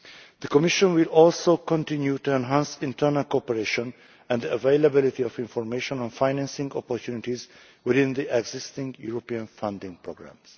The Commission will also continue to enhance internal cooperation and availability of information on financing opportunities within the existing European funding programmes.